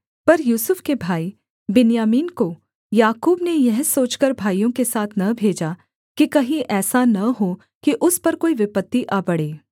पर यूसुफ के भाई बिन्यामीन को याकूब ने यह सोचकर भाइयों के साथ न भेजा कि कहीं ऐसा न हो कि उस पर कोई विपत्ति आ पड़े